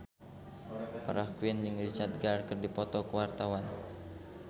Farah Quinn jeung Richard Gere keur dipoto ku wartawan